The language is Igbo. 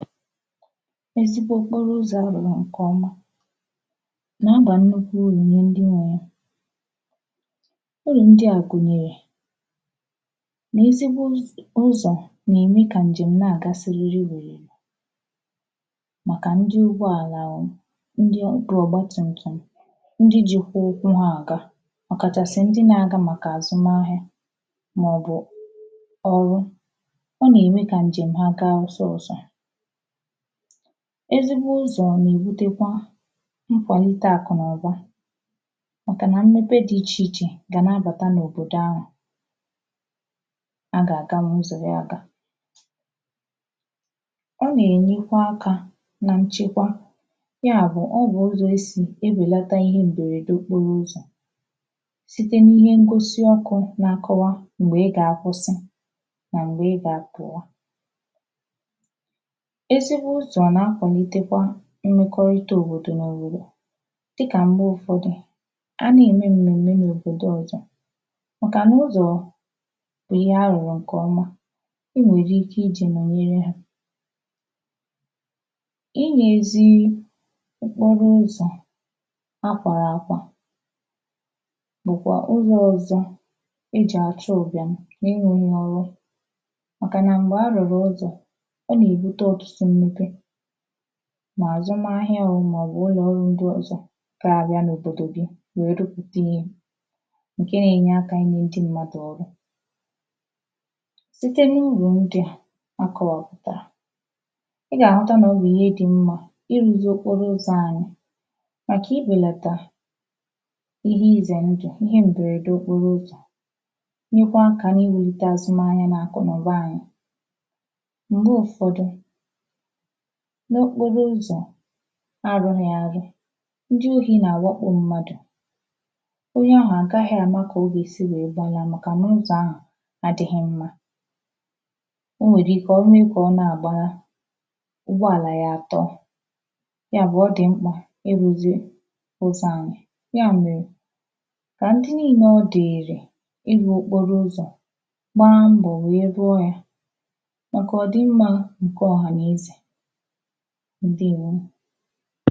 Ezigbo okporo ụzọ̀ arụ̀rụ̀ ǹkèọma nà-àba nnukwu urù nye ndi nwe ya urù ndia gùnyèrè ezigbo ụzọ̀ na-ème kà ǹjèm ǹa-àga siriri wèrèrè màkà ndi ugbọ àlà ndi ọ̀gba tùmtùm ndi jìkwà ụkwụ ya àga ọkàchàsị̀ ndi nà-àga màkà àzụm ahịa màọbụ̀ ọrụ ọ nà-ème kà ǹjèm ha gaa ọsịsọ̄ ezigbo ụzọ̀ na-èbutekwa nkwàlite àkụ̀naụ̀ba màkà nà mmepe di ichèichè gà nà-abàta n’òbòdò anwà a gà àgawu ụzọ̀ ya agā ọ nà-ènyekwa akā nà nchekwa ya bụ̀ ọ bụ̀ ụzọ̀ è si ebèlàta ihe m̀bèrède okporo ụzọ̀ site nà ihe ngosi ọkụ̄ nà-àkọwa m̀gbè ị gà-àkwụsị mà m̀gbè ị gà-àpụ̀wa ezigbo ụzọ̀ nà-akwàlìtekwa mmekọrita òbòdò n’òbòdò dịkà m̀gbè ụ̀fọ̀dị̀ a na-ème m̀mèm̀mè n’òbòdò ọzọ̄ màkà na ụzọ̀ bụ̀ ihe arụ̀rụ̀ ǹkèọma e nwèrè ike ijī nọ̀nyere ha i nwē ezi okporo ụzọ̀ akwàrà àkwà bụ̀kwà ụzọ̀ ọzọ̄ e jì àchụ ụ̀bị̀am màkà nà m̀gbè arụ̀rụ̀ ụzọ̀ ọ nà-èbute ọ̀tụtụ mmepe mà àzụm ahịa oh màọbụ̀ ụlọ̀ ọrụ ndi ọ̀zọ ga-abịa n’òbòdò gi wee rụpụ̀ta ihe ǹkè na-enye aka ị nị̄ ndi mmadụ̀ ọrụ site n’urù ndi a àkọwapụ̀tàrà a gà-àhụta nà ọ bụ̀ ihe dị̀ mmā irūzī okporo ụzọ̀ anyị̄ màkà ibèlàtà ihe izè ndụ̀ ihe m̀bèrède okporo ụzọ̀ nyekwaa aka n’iwūlite azụm ahịā nà akụ̀naụ̀ba anyị̄ m̀gbè ụfọ̄dị̄ n’okporo ụzọ̀ arụ̄ghị̄ àrụ ndi na-àwakpù mmādụ̀ onye ahụ̀ àkahị̄ àma kà o gà-èsi wee gbanaa màkà nà ụzọ̀ ahụ̀ àdịghị̄ mmā o nwèrè ike dikà ọ nà-àgbana ụgbọàlà àtọ ya bụ̀ ọ dị̀ m̀kpà irūzī ụzọ̀ anyị̄ ya mèrè kà ndi niilē ọdị̀ịrị̀ ị rụ̄ okporo ụzọ̀ gbaa mbọ̀ wee rụọ ya màkà ọ dị̀ mmā ǹkè ọ̀hànàezè ǹdeèwo